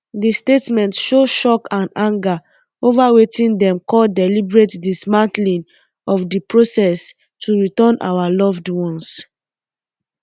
dia statement show shock and anger over um wetin um dem call deliberate dismantling of di process to return our loved ones